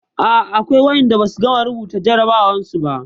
A'a akwai waɗanda ba su gama rubuta jarrabawarsu ba.